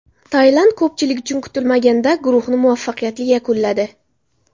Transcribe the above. Tailand, ko‘pchilik uchun kutilmaganda, guruhni muvaffaqiyatli yakunladi.